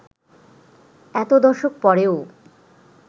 এত দশক পরেও